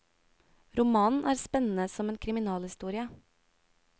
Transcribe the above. Romanen er spennende som en kriminalhistorie.